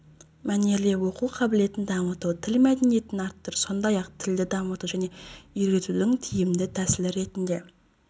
мәнерлеп оқу қабілетін дамыту тіл мәдениетін арттыру сондай-ақ тілді дамыту және үйретудің тиімді тәсілі ретінде